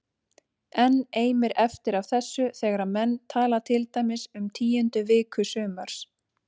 Enn eimir eftir af þessu þegar menn tala til dæmis um tíundu viku sumars